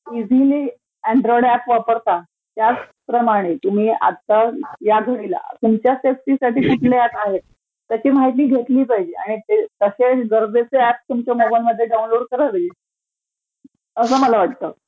Easily Android app वापरता त्याचप्रमाणे तुम्ही आता या घडीला तुमच्या सेफ्टीसाठी कुठले ऍप आहेत तर ते माहिती घेतली पाहिजे आणि तसे गरजेचे ऍप तुम्ही तुमच्या मोबाइलमध्ये डाऊनलोड केले पाहिजेत असं मला वाटतं.